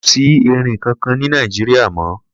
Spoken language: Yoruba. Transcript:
Kò sí erin kankan ní Nàìjíríà mọ́.